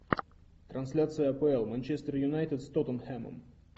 трансляция апл манчестер юнайтед с тоттенхэмом